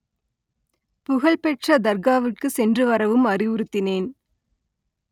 புகழ்பெற்ற தர்காவுக்கு சென்று வரவும் அறிவுறுத்தினேன்